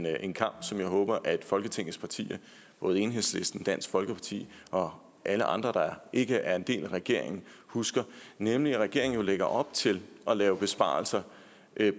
er en kamp som jeg håber at folketingets partier både enhedslisten dansk folkeparti og alle andre partier der ikke er en del af regeringen husker nemlig at regeringen lægger op til at lave besparelser